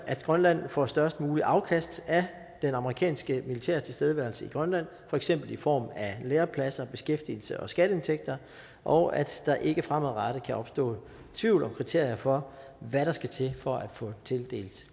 at grønland får størst muligt afkast af det amerikanske militærs tilstedeværelse i grønland for eksempel i form af lærepladser beskæftigelse og skatteindtægter og at der ikke fremadrettet kan opstå tvivl om kriterierne for hvad der skal til for at få tildelt